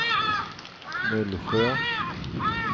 Mullsjö